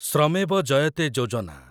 ଶ୍ରମେବ ଜୟତେ ଯୋଜନା